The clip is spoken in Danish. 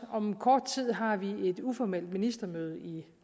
om kort tid har vi et uformelt ministermøde i